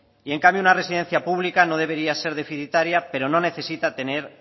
y en cambio una residencia pública no debería ser deficitaria pero no necesita tener